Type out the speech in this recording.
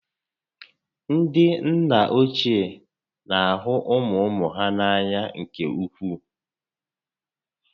Ndị nna ochie na ahụ ụmụ ụmụ ha n'anya nke ukwuu